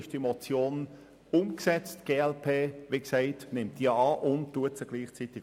Ich bin deshalb der Ansicht, diese Motion sei umgesetzt.